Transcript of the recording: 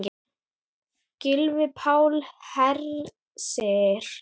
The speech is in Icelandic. Gylfi Páll Hersir.